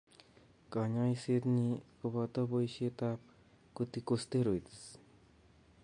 Kanyoiset nyi koboto boishetab corticosteroids